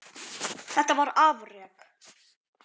Þetta var afrek.